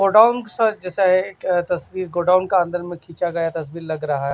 Godown सा जैसा है तस्वीर गोडाउन का अंदर सा खींचा गया तस्वीर लग रहा है।